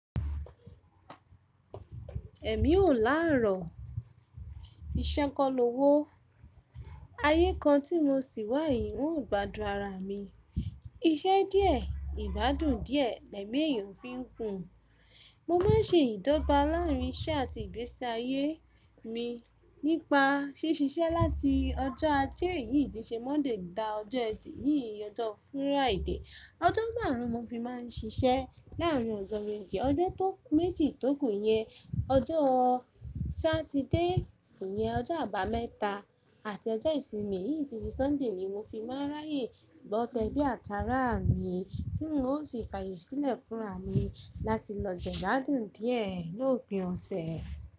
Ẹ̀mí ò làárọ̀, ìṣẹ́ kọ́ ló wó. Ayé kan tí mo sì wà yìí wọn ò gbádùn ara mi. Iṣẹ́ díẹ̀, ìbádùn díẹ̀, ẹ̀mí èèyàn fi ń gun. Mo má n ṣe ìdọ́ba láàrín iṣẹ́ àti ìgbésí ayé mi nípa ṣí ṣiṣẹ́ láti ọjọ́ ajé yìí tí ṣe Monday dé ọjọ́ ẹtì yìí ọjọ́ Friday. Ọjọ́ màrùn ún mo fi má n ṣiṣẹ́ láàrín ọjọ́ méjì. Ọjọ́ tó méjì tókù yẹn, ọjọ́ Saturday yẹn, ọjọ́ àbámẹ́ta àti ọjọ́ ìsinmi yìí tí ṣe Sunday ni mo fi má n ráyè lọ tẹbí àtàrà mi tí n ó sì fàyè sílẹ̀ fúnra mi láti lọ jẹ ìbádùn díẹ̀ lópin ọ̀sẹ̀